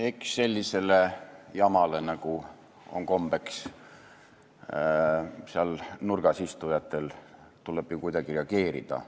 Eks sellisele jamale, nagu on kombeks ajada seal nurgas istujatel, tuleb kuidagi reageerida.